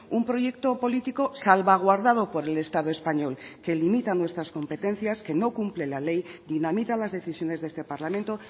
un proyecto político salvaguardado por el estado español que limita nuestras competencias que no cumple la ley dinamita las decisiones de este parlamento